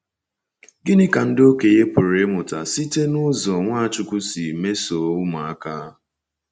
Gịnị ka ndị okenye pụrụ ịmụta site n’ụzọ Nwachukwu si mesoo ụmụaka?